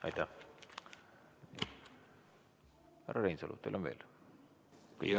Härra Reinsalu, teil on veel?